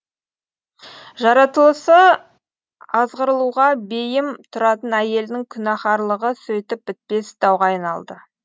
жаратылысы азғырылуға бейім тұратын әйелдің күнәһарлығы сөйтіп бітпес дауға айналады